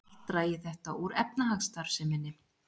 Allt dragi þetta úr efnahagsstarfseminni